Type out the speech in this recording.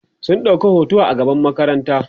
sun ɗauka hoto a gaban makaranta